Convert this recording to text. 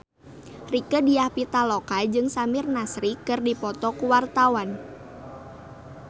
Rieke Diah Pitaloka jeung Samir Nasri keur dipoto ku wartawan